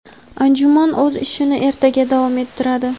Anjuman o‘z ishini ertaga davom ettiradi.